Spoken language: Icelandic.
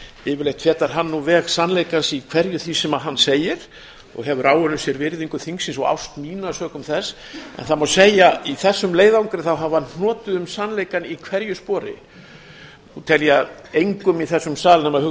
yfirleitt fetar hann nú veg sannleikans í hverju því sem hann segir og hefur áunnið sér virðingu þingsins og ást mína sökum þess en það má segja í þessum leiðangri þá hafi hann hnotið um sannleikann í hverju spori nú tel ég að engum í þessum sal